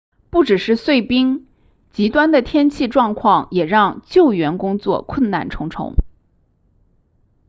不只是碎冰极端的天气状况也让救援工作困难重重